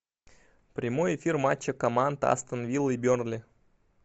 прямой эфир матча команд астон вилла и бернли